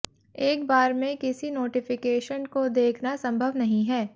एक बार में किसी नोटिफिकेशन को देखना संभव नहीं है